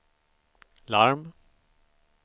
larm